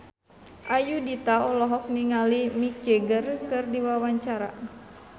Ayudhita olohok ningali Mick Jagger keur diwawancara